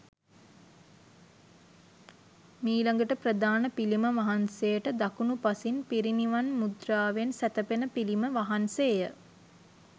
මීළඟට ප්‍රධාන පිළිම වහන්සේට දකුණු පසින් පිරිනිවන් මුද්‍රාවෙන් සැතපෙන පිළිම වහන්සේය.